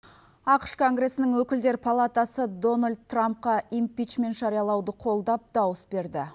ақш конгресінің өкілдер палатасы дональд трампқа импичмент жариялауды қолдап дауыс берді